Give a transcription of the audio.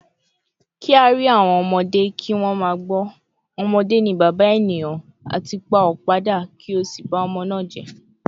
“Ki a ri awon omode ki won ma gbo,” “Omode ni baba eniyan,” ati “Pa opa da ki o si ba omo naa je.